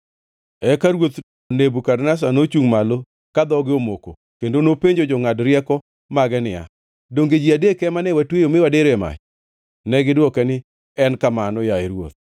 Eka ruoth Nebukadneza nochungʼ malo ka dhoge omoko kendo nopenjo jongʼad rieko mage niya, “Donge ji adek ema ne watweyo mi wadiro e mach?” Negidwoke niya, “En kamano, yaye ruodh.”